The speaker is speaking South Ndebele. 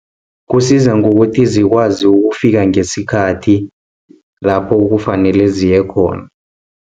Kusiza ngokuthi zikwazi ukufika ngesikhathi, lapho kufanele ziyekhona.